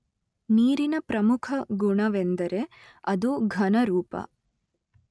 ನೀರಿನ ಪ್ರಮುಖ ಗುಣವೆಂದರೆ ಅದು ಘನ ರೂಪ